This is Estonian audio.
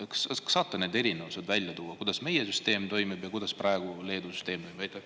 Kas saate tuua välja need erinevused, kuidas meie süsteem toimib ja milline praegu Leedu süsteem on?